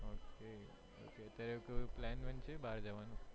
ok અત્યારે કોઈ plan van છે બહાર જવાનો?